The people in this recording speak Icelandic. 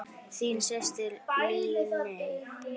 Þín systir, Líney.